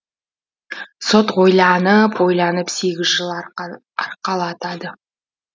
сот ойланып ойланып сегіз жыл арқалатады